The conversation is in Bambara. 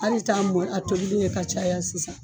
Hal'i t'a mɔgɔ y a tobili ye ka caya sisan.